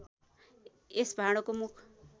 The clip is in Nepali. यस भाँडोको मुख